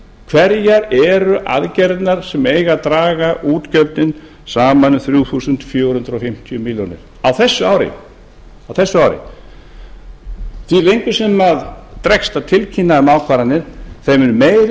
hverjar eru aðgerðirnar sem eiga að draga útgjöldin sama um þrjú þúsund fjögur hundruð fimmtíu milljónir á þessu ári því lengur sem dregst að tilkynna um ákvarðanir þeim mun meiri